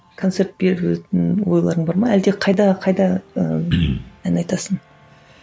концерт беретін ойларың бар ма әлде қайда қайда ыыы ән айтасың